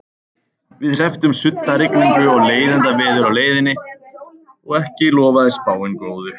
Við hrepptum suddarigningu og leiðindaveður á leiðinni og ekki lofaði spáin góðu.